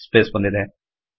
space ಬಂದಿದೆ